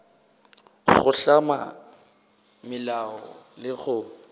go hlama melao le go